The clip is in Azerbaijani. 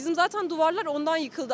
Bizim zatən divarlar ondan yıxıldı.